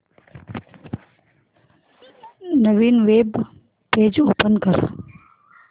नवीन web page open कर